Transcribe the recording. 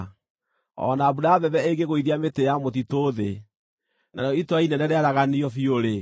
O na mbura ya mbembe ĩngĩgũithia mĩtĩ ya mũtitũ thĩ, narĩo itũũra inene rĩaraganio biũ-rĩ,